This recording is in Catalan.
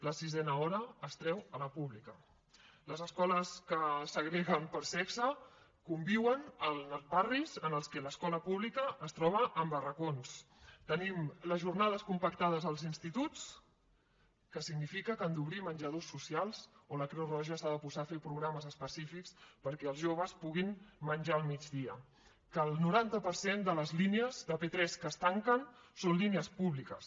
la sisena hora es treu a la pública les escoles que segreguen per sexe conviuen en els barris en els quals l’escola pública es troba en barracons tenim les jornades compactades als instituts que significa que han d’obrir menjadors socials o que la creu roja s’ha de posar a fer programes específics perquè els joves puguin menjar al migdia que el noranta per cent de les línies de p3 que es tanquen són línies públiques